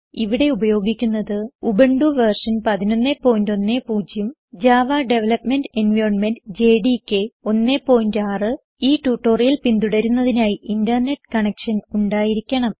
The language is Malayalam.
ഇവിടെ ഉപയോഗിക്കുന്നത് Ubuntu version 1110 Java development environment JDK 16 ഈ ട്യൂട്ടോറിയൽ പിന്തുടരുന്നതിനായി ഇന്റർനെറ്റ് കണക്ഷൻ ഉണ്ടായിരിക്കണം